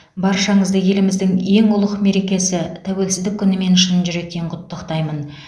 баршаңызды еліміздің ең ұлық мерекесі тәуелсіздік күнімен шын жүректен құттықтаймын